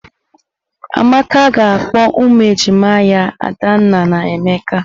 Amaka ga-akpọ ụmụ ejima ya Adanna na Emeka.